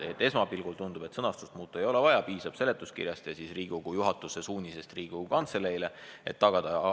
Esmapilgul tundub, et sõnastust muuta ei ole vaja, piisab seletuskirjast ja Riigikogu juhatuse suunisest Riigikogu Kantseleile, et vajalik tuleb tagada.